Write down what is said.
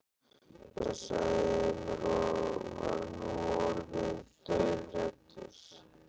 Já, sagði Emil og var nú orðinn dauðhræddur.